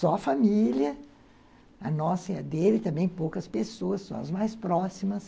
Só a família, a nossa e a dele, e também poucas pessoas, só as mais próximas.